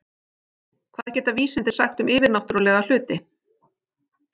Hvað geta vísindin sagt um yfirnáttúrlega hluti?